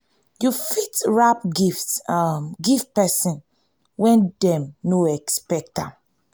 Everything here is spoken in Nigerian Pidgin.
you fit wrap gift um give person wen dem no expect